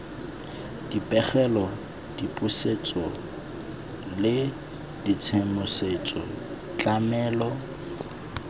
dipegelo dipusetso le tshedimosetso tlamelo